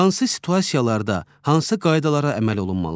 Hansı situasiyalarda, hansı qaydalara əməl olunmalıdır?